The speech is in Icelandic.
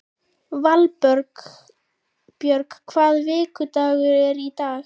Valbjörn, hvaða vikudagur er í dag?